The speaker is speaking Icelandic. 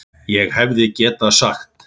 ÉG HEFÐI GETAÐ SAGT